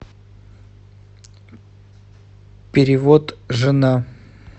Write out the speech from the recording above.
перевод жена